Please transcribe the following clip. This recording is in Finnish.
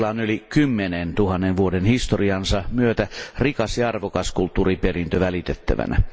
Sillä on yli kymmenen tuhannen vuoden historiansa myötä rikas ja arvokas kulttuuriperintö välitettävänään.